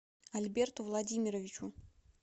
альберту владимировичу